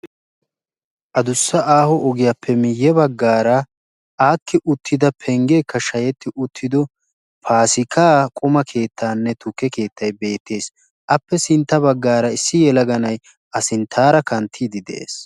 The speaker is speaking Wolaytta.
Adussa aaho ogiyaappe miye baggaara aakki uttida penggeekka shayetti uttido paasikkaa quma keettayinne tukke keettay beettees. appe sintta baggaara issi yelaga na'ay a sinttaara kanttiidi de'ees.